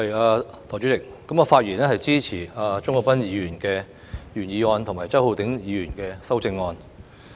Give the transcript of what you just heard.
代理主席，我發言支持鍾國斌議員的原議案及周浩鼎議員的修正案。